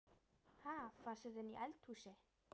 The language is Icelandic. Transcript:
Ha! Fannstu þetta inni í eldhúsi?